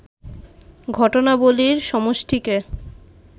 ঘটনাবলীর সমষ্টিকে